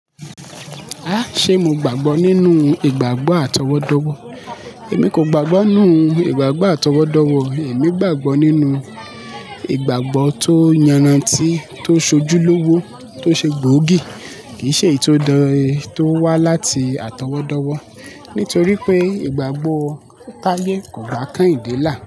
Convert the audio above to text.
Ah! Sé mo gbàgbọ́ nínú ìgbàgbọ́ àtọwọ́dọ́wọ́? Èmi kò gbàgbọ́ nínú ìgbàgbọ́ àtọwọ́dọ́wọ́. Èmi gbàgbọ́ nínú ìgbàgbọ́ tó yanra ti, tó sojúlówó, tó ṣe gbòógì, kì í ṣe èyí tó wá láti àtọwọ́dọ́wọ́. Nítorí pé ìgbàgbọ́ táiye kò gba Kehinde là.